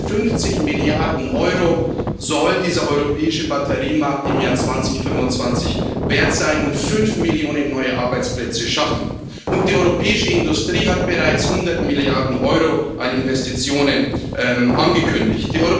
250 Milliarden Euro soll dieser europäische Batteriemarkt im Jahr 2025 wert sein und fünf Millionen neue Arbeitsplätze schaffen, und die europäische Industrie hat bereits 100 Milliarden Euro an Investitionen angekündigt.